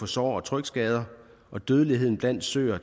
sår og trykskader og dødeligheden blandt søer